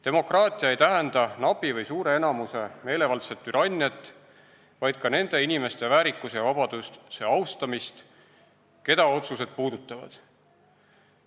Demokraatia ei tähenda napi või suure enamuse meelevaldset türanniat, vaid ka nende inimeste väärikuse ja vabaduse austamist, keda otsused puudutavad.